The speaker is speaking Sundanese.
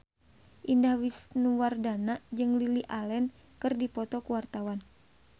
Indah Wisnuwardana jeung Lily Allen keur dipoto ku wartawan